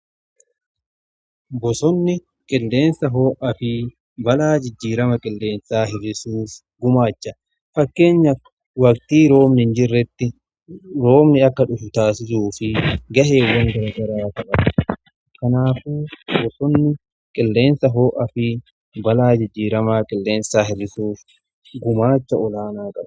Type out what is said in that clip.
bosonni qilleensa ho'aa fi balaa jijjiirama qilleensaa hir'isuuf gumaacha qaba. fakkeenyaf waqtii roobni hin jirretti roobni akka dhufu taasisuu fi gaheewwan garaa garaa taphata. kanaaf bosonni qilleensa ho'aa fi balaa jijjiirama qilleensaa hir'isuuf gumaacha olaanaa qaba.